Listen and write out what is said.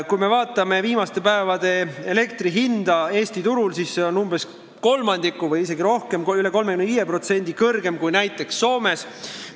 Kui me vaatame viimaste päevade elektri hinda Eesti turul, siis see on umbes kolmandiku võrra või isegi rohkem, üle 35% kõrgem kui näiteks Soomes.